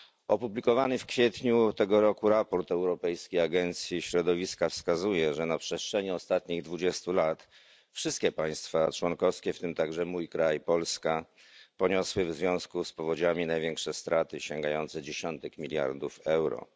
Opublikowany w kwietniu tego roku raport Europejskiej Agencji Środowiska wskazuje, że na przestrzeni ostatnich 20 lat wszystkie państwa członkowskie, w tym także mój kraj, Polska, poniosły w związku z powodziami największe straty sięgające dziesiątek miliardów euro.